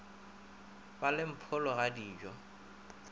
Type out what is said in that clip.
ba le mpholo ga dijo